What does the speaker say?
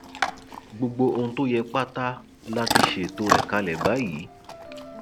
gbogbo ohun tó yẹ pátá la ti ṣètò rẹ kalẹ báyìí